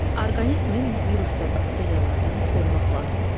Orqanizmi virus və bakteriyalardan da qorumaq lazımdır.